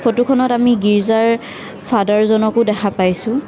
ফটোখনত আমি ৰ্গিজাৰ ফাডাৰ জনকো দেখা পাইছোঁ।